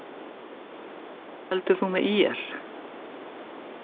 Af hverju heldur þú með ÍR?